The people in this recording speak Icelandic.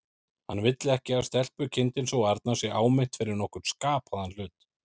Hann vill ekki að stelpukindin sú arna sé áminnt fyrir nokkurn skapaðan hlut.